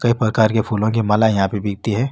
कई प्रकार के फूलो की माला यहाँ पर बिकती है।